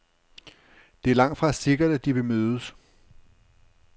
Det er langtfra sikkert, at de vil mødes.